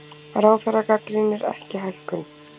Ráðherra gagnrýnir ekki hækkun